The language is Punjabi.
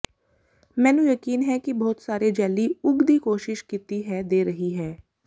ਮੈਨੂੰ ਯਕੀਨ ਹੈ ਕਿ ਬਹੁਤ ਸਾਰੇ ਜੈਲੀ ਉਗ ਦੀ ਕੋਸ਼ਿਸ਼ ਕੀਤੀ ਹੈ ਦੇ ਰਹੀ ਹੈ